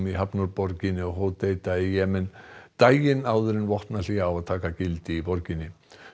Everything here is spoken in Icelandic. hafnarborginni Hodeida í Jemen daginn áður en vopnahlé á að taka gildi í borginni